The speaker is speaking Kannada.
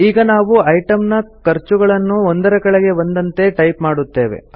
ಈಗ ನಾವು ಐಟಂ ನ ಖರ್ಚುಗಳನ್ನು ಒಂದರ ಕೆಳಗೆ ಒಂದಂತೆ ಟೈಪ್ ಮಾಡುತ್ತೇವೆ